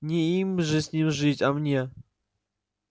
не им же с ним жить а мне